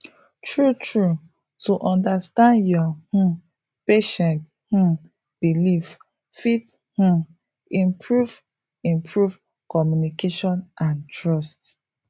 true true to understand your um patient um beliefs fit um improve improve communication and trust